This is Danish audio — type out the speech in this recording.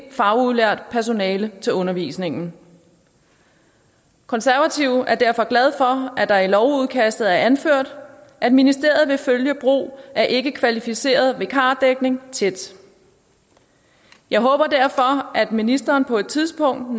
ikkefagudlært personale til undervisningen konservative er derfor glade for at der i lovudkastet er anført at ministeriet vil følge brug af ikkekvalificeret vikardækning tæt jeg håber derfor at ministeren på et tidspunkt